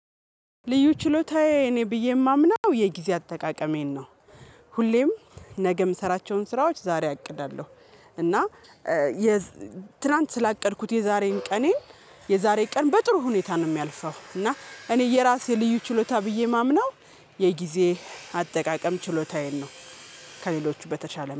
ልዩ ችሎታዬ እኔ ብዬ የማምናው የጊዜ አጠቃቀሜን ነው። ሁሌም ነገ የምሰራቸውን ስራዎች ዛሬ አቅዳለሁ። እና ትላንት ስላቀድኩት የዛሬን ቀኔን የዛሬ ቀን በጥሩ ሁኔታ ነው የሚያልፈው። እና እኔ የራሴ ልዩ ችሎታ ብዬ የማምነው የጊዜ አጠቃቀም ችሎታዬን ነው። ከሌሎቹ በተሸለ